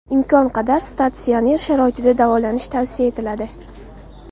Imkon qadar statsionar sharoitda davolanish tavsiya etiladi.